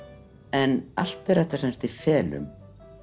en allt er þetta í felum